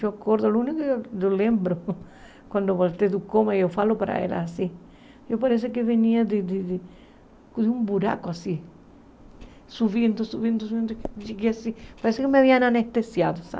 Eu acordo, o único que eu lembro, quando voltei do coma, eu falo para ela assim, eu parecia que eu venia de de um buraco, assim, subindo, subindo, subindo, e cheguei assim, parecia que me haviam anestesiado, sabe?